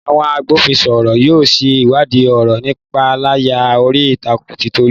Àwọn agbófinró yóò ṣe ìwádìí ọ̀rọ̀ ìpániláyà orí ìtàkùn ti Tolu